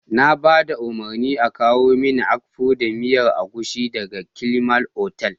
Na ba da umarnin a kawo mini Akpu da miyar agushi daga Climax otal.